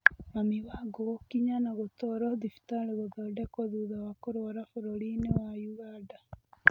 Mami Wangũgũkinya na gũtwarwo thibitarĩ gũthondekwo thutha wa kũrwara bũrũrinĩ wa ũganda.